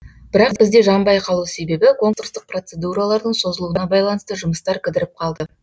бірақ бізде жанбай қалу себебі конкурстық процедуралардың созылуына байланысты жұмыстар кідіріп қалды